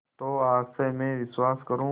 तो आज से मैं विश्वास करूँ